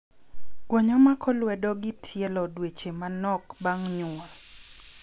Gwonyo mako lwedo gi tielo dweche manok bang' nyuol.